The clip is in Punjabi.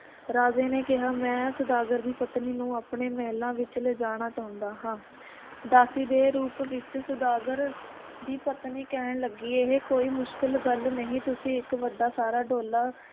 ਰਾਜੇ ਨੇ ਕਿਹਾ ਮੈ ਸੌਦਾਗਰ ਦੀ ਪਤਨੀ ਨੂੰ ਆਪਣੇ ਮਹਿਲਾਂ ਵਿਚ ਲਿਜਾਣਾ ਚਾਹੁੰਦਾ ਹਾਂ ਦਾਸੀ ਦੇ ਰੂਪ ਵਿਚ ਸੌਦਾਗਰ ਦੀ ਪਤਨੀ ਕਹਿਣ ਲੱਗੀ, ਇਹ ਕੋਈ ਮੁਸ਼ਕਲ ਗੱਲ ਨਹੀਂ, ਤੁਸੀਂ ਇੱਕ ਵੱਡਾ ਸਾਰਾ ਡੋਲਾ